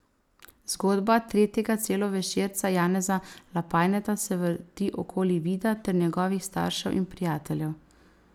Zgodba tretjega celovečerca Janeza Lapajneta se vrti okoli Vida ter njegovih staršev in prijateljev.